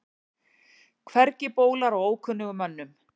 Hvergi bólar á ókunnugum mönnum.